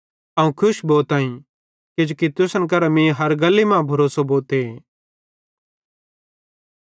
अवं खुश भोताईं किजोकि तुसन करां मीं हर गल्ली मां भरोसो भोते